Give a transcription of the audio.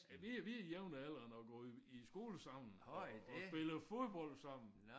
Vi vi er jævnaldrende og gået i i skole sammen og og spillet fodbold sammen